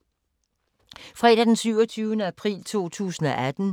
Fredag d. 27. april 2018